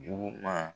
Juguman